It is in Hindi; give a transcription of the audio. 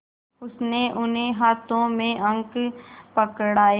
उसने उन्हें हाथों में अंक पकड़ाए